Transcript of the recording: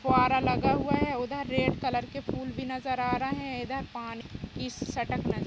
फुवारा लगा हुआ है | उधर रेड कलर के फूल भी नज़र आ रहे हैं । इधर पानी की सटक नज़र --